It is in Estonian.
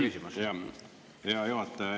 Hea juhataja!